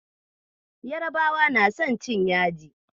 Yarabawa na son cin yaji.